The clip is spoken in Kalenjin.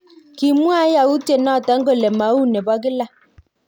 Kimwae yautiet noton kole mau nebo kila